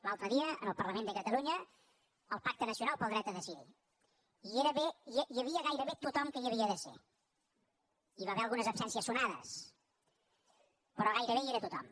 l’altre dia en el parlament de catalunya al pacte nacional pel dret a decidir hi havia gairebé tothom que hi havia de ser hi va haver algunes absències sonades però gairebé hi era tothom